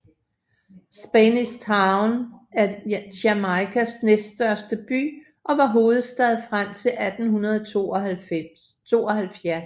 Spanish Town er Jamaicas næststørste by og var hovedstad frem til 1872